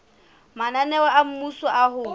mananeo a mmuso a ho